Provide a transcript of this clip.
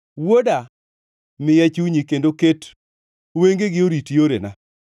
Wuoda, miya chunyi, kendo ket wengegi orit yorena,